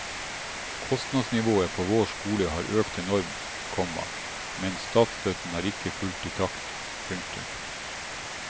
Kostnadsnivået på vår skole har økt enormt, komma men statsstøtten har ikke fulgt i takt. punktum